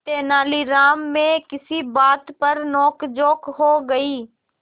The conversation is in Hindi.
तेनालीराम में किसी बात पर नोकझोंक हो गई